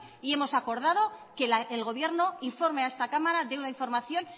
y hemos acordado que el gobierno informe a esta cámara de una información